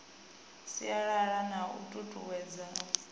sialala na u tutuwedza u